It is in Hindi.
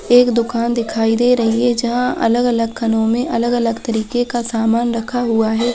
एक दुकान दिखाई दे रही हैं जहाँ अलग-अलग खानों में अलग-अलग तरीके का सामान रखा हुआ हैं।